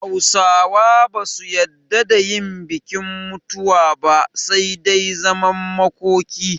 Hausawa ba su yadda da yin bikin mutuwa ba, sai dai zaman makoki